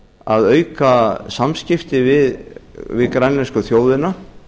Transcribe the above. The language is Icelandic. að auka samskipti við grænlensku þjóðina